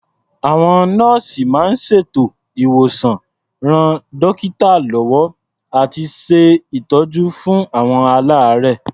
Àwọn nọ́ọ̀sì máa ń ṣètò ìwòsàn, ran dọ́kítà lọ́wọ́ àti ṣe ìtọ́jú fún àwọn aláàárẹ̀.